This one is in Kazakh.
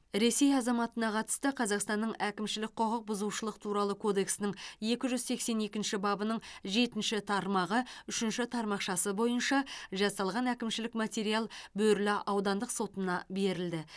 ресей азаматына қатысты қазақстанның әкімшілік құқықбұзушылық туралы кодексінің екі жүз сексен екінші бабының жетінші тармағы үшінші тармақшасы бойынша жасалған әкімшілік материал бөрлі аудандық сотына берілді